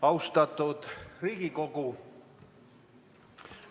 Austatud Riigikogu!